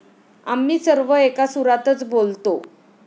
आम्ही सर्व एका सुरातच बोलतो.